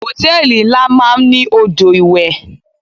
Hòtẹ́lìì ńlá máa ń ní odò ìwẹ̀.